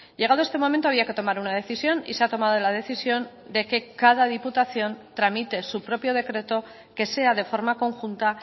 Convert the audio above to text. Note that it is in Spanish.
llegado este momento había que tomar una decisión y se ha tomado la decisión de que cada diputación tramite su propio decreto que sea de forma conjunta